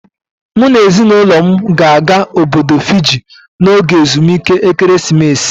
M na ezinaụlọ m ga-aga Obodo Fiji n'oge ezumike ekeresimesi